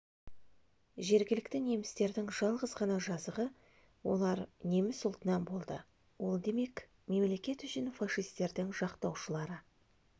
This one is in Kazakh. жергілікті немістердің жалғыз ғана жазығы олар неміс ұлтынан болды ол демек мемлекет үшін фашисттердің жақтаушылары